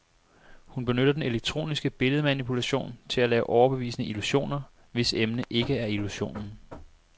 Hun benytter den elektroniske billedmanipulation til at lave overbevisende illusioner, hvis emne ikke er illusionen.